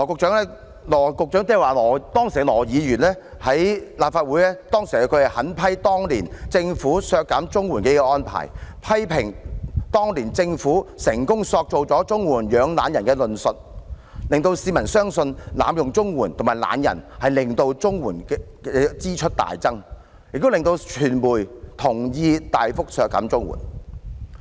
當時的羅議員在立法會上狠批政府削減綜援的安排，批評當年的政府成功塑造"綜援養懶人"的論述，令市民相信濫用綜援和懶人會令綜援支出大增，也令傳媒同意大幅削減綜援。